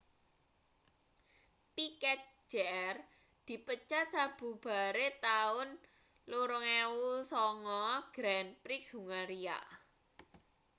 piquet jr dipecat sabubare taun 2009 grand prix hungaria